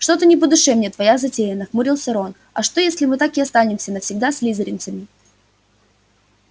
что-то не по душе мне твоя затея нахмурился рон а что если мы так и останемся навсегда слизеринцами